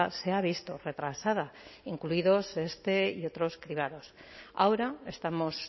se ha visto retrasada incluidos este y otros cribados ahora estamos